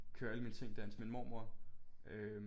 Køre alle mine ting derhen til min mormor øh